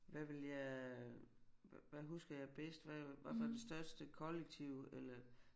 Hvad ville jeg hvad husker jeg bedst hvad hvad var det største kollektiv eller